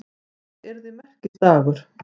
Það yrði merkisdagur.